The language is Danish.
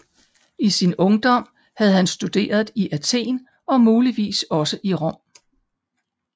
I sin ungdom havde han studeret i Athen og muligvis også i Rom